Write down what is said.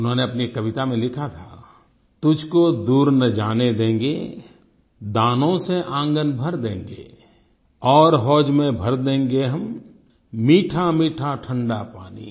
उन्होंने अपनी कविता में लिखा था तुझको दूर न जाने देंगे दानों से आंगन भर देंगे और होद में भर देंगे हम मीठामीठा ठंडा पानी